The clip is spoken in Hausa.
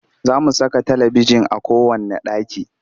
Za mu saka talibijin a kowanne ɗaki